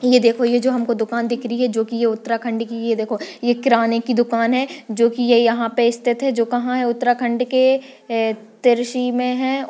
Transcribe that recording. ये देखो ये जो हमको दुकान दिख रही है जो की ये उत्तराखंड की है ये देखो ये किराने की दुकान है जो की ये यहाँ पे स्थित है जो कहाँ है उत्तराखंड के ए तिरसी में है।